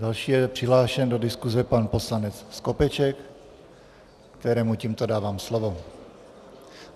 Další je přihlášen do diskuze pan poslanec Skopeček, kterému tímto dávám slovo.